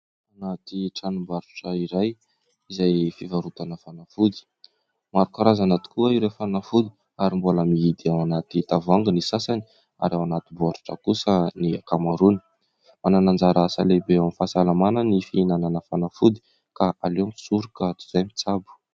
Ao anaty tranom-barotra iray izay fivarotana fanafody, maro karazana tokoa ireo fanafody ary mbola mihidy ao anaty tavoahangy ny sasany ary ao anaty boaritra kosa ny ankamaroany. Manana anjara asa lehibe ao amin'ny fahasalamana ny fihinanana fanafody ka aleo misoroka toy izay mitsabo.